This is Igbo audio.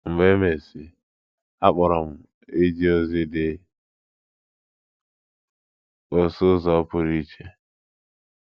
Mgbe emesịi, a kpọrọ m ije ozi dị ka ọsụ ụzọ pụrụ iche.